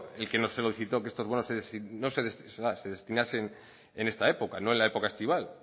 el que nos solicitó que estos bonos se destinasen en esta época no en la época estival